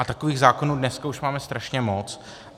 A takových zákonů dneska už máme strašně moc.